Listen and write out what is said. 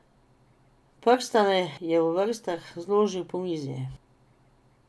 Prstane je v vrstah zložil po mizi.